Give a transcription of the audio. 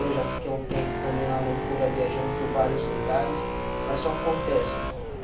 Eu já fiquei há um tempo também na loucura viajando por vários lugares, mas só acontece.